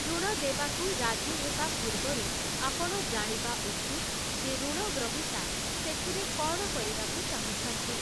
ଋଣ ଦେବାକୁ ରାଜି ହେବା ପୂର୍ବରୁ, ଆପଣ ଜାଣିବା ଉଚିତ୍ ଯେ ଋଣଗ୍ରହୀତା ସେଥିରେ କ'ଣ କରିବାକୁ ଚାହୁଁଛନ୍ତି ।